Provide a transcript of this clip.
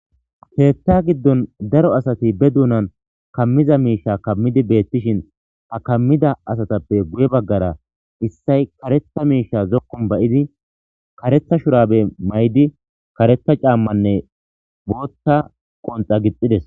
Keththa giddon daro asati ba duunna kamiza miishsha kaamishe bettishin ha kaamidda asatappe guye baggara issay kareththa miishsha zookonii ba'idii kareththa shurabe mayidi kareththa caamanne booththa qonxa gixides.